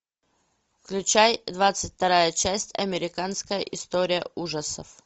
включай двадцать вторая часть американская история ужасов